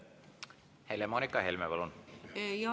Helle-Moonika Helme, palun!